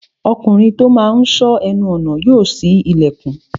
Ọkùnrin tó máa n sọ́ ẹnu ọnà yóò ṣí ilẹ̀kùn